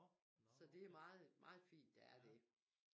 Så det er meget meget fint der er det